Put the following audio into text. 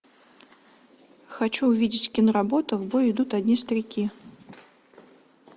хочу увидеть киноработу в бой идут одни старики